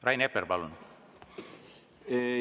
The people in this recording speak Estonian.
Rain Epler, palun!